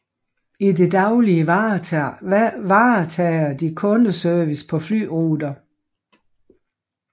I det daglige varetager de kundeservice på flyruter